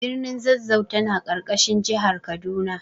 Birnin Zazzau tana ƙarƙashin jihar Kaduna.